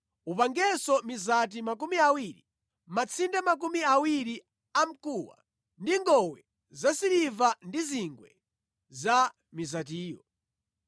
Upangenso mizati makumi awiri, matsinde makumi awiri amkuwa, ndi ngowe zasiliva ndi zingwe za mizatiyo.